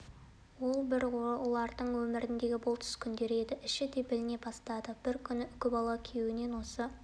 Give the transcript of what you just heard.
ол бір олардың өміріндегі бұлтсыз күндер еді іші де біліне бастады бір күні үкібала күйеуінен осы